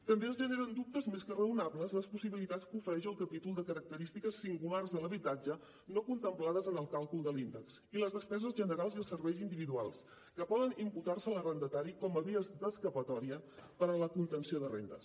també els generen dubtes més que raonables les possibilitats que ofereix el capítol de característiques singulars de l’habitatge no contemplades en el càlcul de l’índex i les despeses generals i els serveis individuals que poden imputar se a l’arrendatari com a vies d’escapatòria per a la contenció de rendes